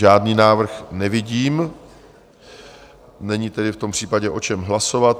Žádný návrh nevidím, není tedy v tom případě o čem hlasovat.